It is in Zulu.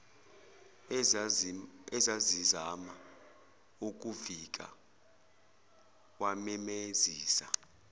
ezazizama ukuvika wamemezisa